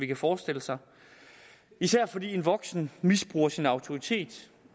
kan forestille sig især fordi en voksen misbruger sin autoritet